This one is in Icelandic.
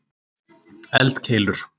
eldkeilur